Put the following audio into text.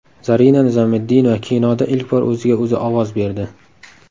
Zarina Nizomiddinova kinoda ilk bor o‘ziga o‘zi ovoz berdi.